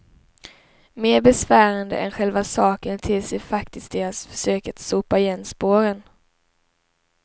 Mer besvärande än själva saken ter sig faktiskt deras försök att sopa igen spåren.